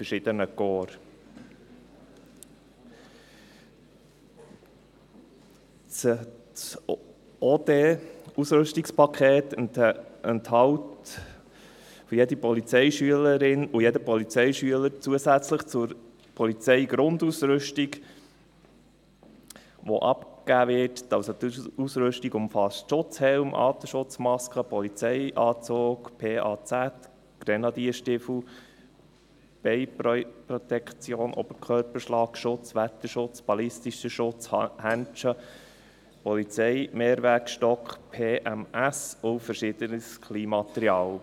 Das Ordnungsdienst(OD)-Ausrüstungspaket enthält für jede Polizeischülerin und jeden Polizeischüler zusätzlich zur abgegebenen Polizeigrundausrüstung, also Schutzhelm, Atemschutzmaske, Polizeianzug (PAZ), Grenadierstiefel, Beinprotektoren, Oberkörperschlagschutz, Wetterschutz, ballistischer Schutz, Handschuhe, Polizeimehrzweckstock (PMS), auch verschiedenes Kleinmaterial.